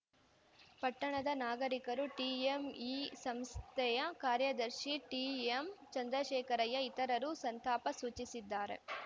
ಪಟ್ಟಣದ ನಾಗರಿಕರು ಟಿಎಂಎಇ ಸಂಸ್ಥೆಯ ಕಾರ್ಯದರ್ಶಿ ಟಿಎಂ ಚಂದ್ರಶೇಖರಯ್ಯ ಇತರರು ಸಂತಾಪ ಸೂಚಿಸಿದ್ದಾರೆ